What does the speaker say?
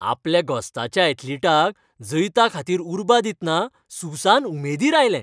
आपल्या घोस्ताच्या ऍथलिटाक जैताखातीर उर्बा दितना सुसान उमेदीर आयलें.